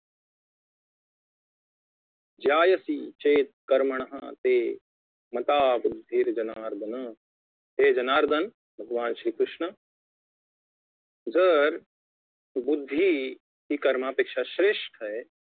ज्यायसी चेत्कर्मणस्ते मता बुद्धिर्जनार्दन हे जनार्दन भगवान श्री कृष्ण जर बुद्धी हि कर्मापेक्षा श्रेष्ठ आहे